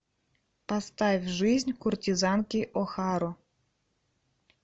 поставь жизнь куртизанки охару